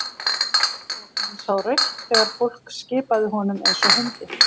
Og hann sá rautt þegar fólk skipaði honum eins og hundi.